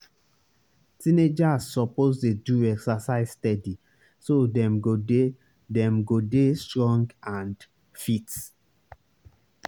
teenagers suppose dey do exercise steady so dem go dey dem go dey strong and fit.